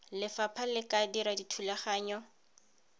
lefapha le ka dira dithulaganyo